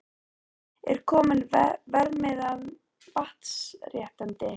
Er kominn verðmiði á vatnsréttindi?